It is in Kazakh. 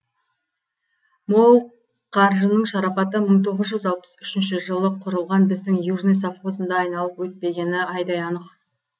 мол қаржының шарапаты мың тоғыз жүз алпыс үшінші жылы құрылған біздің южный совхозында айналып өтпегені айдай анық